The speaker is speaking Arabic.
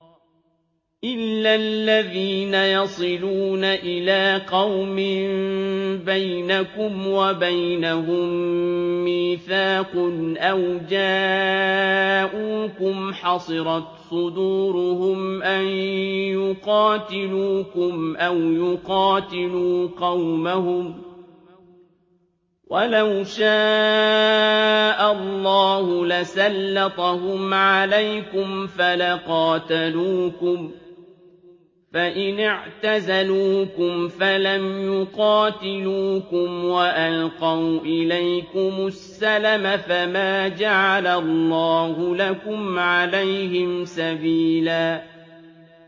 إِلَّا الَّذِينَ يَصِلُونَ إِلَىٰ قَوْمٍ بَيْنَكُمْ وَبَيْنَهُم مِّيثَاقٌ أَوْ جَاءُوكُمْ حَصِرَتْ صُدُورُهُمْ أَن يُقَاتِلُوكُمْ أَوْ يُقَاتِلُوا قَوْمَهُمْ ۚ وَلَوْ شَاءَ اللَّهُ لَسَلَّطَهُمْ عَلَيْكُمْ فَلَقَاتَلُوكُمْ ۚ فَإِنِ اعْتَزَلُوكُمْ فَلَمْ يُقَاتِلُوكُمْ وَأَلْقَوْا إِلَيْكُمُ السَّلَمَ فَمَا جَعَلَ اللَّهُ لَكُمْ عَلَيْهِمْ سَبِيلًا